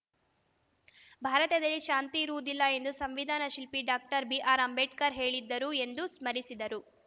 ಭಾರತದಲ್ಲಿ ಶಾಂತಿ ಇರುವುದಿಲ್ಲ ಎಂದು ಸಂವಿಧಾನಶಿಲ್ಪಿ ಡಾಕ್ಟರ್ ಬಿಆರ್‌ಅಂಬೇಡ್ಕರ್‌ ಹೇಳಿದ್ದರುಎಂದು ಸ್ಮರಿಸಿದರು